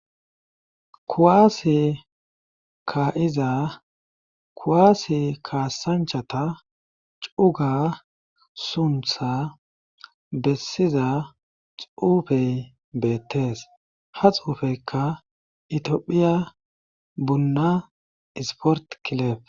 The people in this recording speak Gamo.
Kuwaasi ka'iza kuwaasi kaasanchata cuga suntha bessiza xuufey beettees ha xuufeykka itiophiya bunna isport kilef.